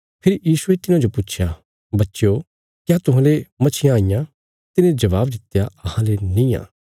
फेरी यीशुये तिन्हांजो पुच्छया बच्चो क्या तुहांले मच्छियां हईयां तिने जबाब दित्या अहांले निआं